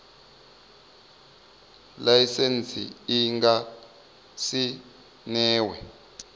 laisentsi i nga si newe